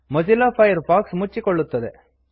Mozilla Firefox ಮುಚ್ಚಿಕೊಳ್ಳುತ್ತದೆ